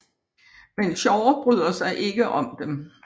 Men Shaw bryder sig ikke om dem